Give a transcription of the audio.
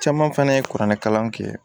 Caman fɛnɛ ye kuranɛkalan kɛ